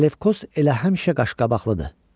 Salefkos elə həmişə qaşqabaqlıdır.